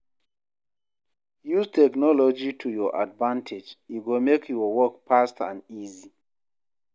Use technology to your advantage, e go make your work fast and easy